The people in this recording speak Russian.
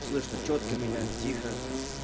слышно чётко меня тихо